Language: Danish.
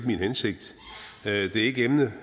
min hensigt det er ikke emnet